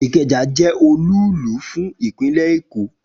Ikeja je olúùlú fún ìpínlè Èkó